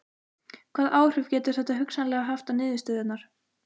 Hvaða áhrif getur þetta hugsanlega haft á niðurstöðurnar?